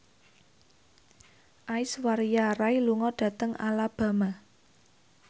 Aishwarya Rai lunga dhateng Alabama